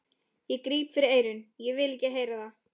Ég gríp fyrir eyrun, ég vil ekki heyra það!